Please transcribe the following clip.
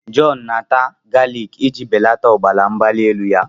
John na-ata galik iji belata ọbara mgbali elu ya.